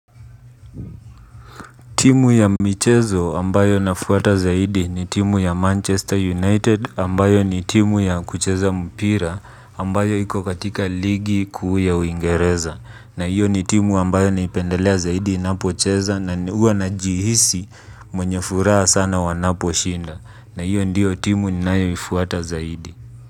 Timu ya michezo ambayo ninafuata zaidi ni timu ya Manchester United ambayo ni timu ya kucheza mpira ambayo iko katika ligi kuu ya uingereza. Na hiyo ni timu ambayo naipendelea zaidi inapo cheza na huwa najihisi mwenye furaha sana wanapo shinda. Na hiyo ndiyo timu ninayoifuata zaidi.